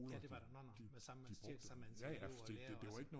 Ja det var det nå nå samme diversitet antal elever og lærere altså